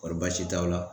Wari baasi t'aw la